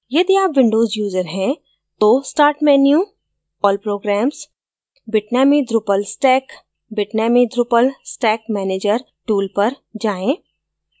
यदि आप windows user हैं तो start menu> all programs> bitnami drupal stack> bitnami drupal stack manager tool पर जाएँ